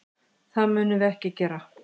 Það munum við ekki gera.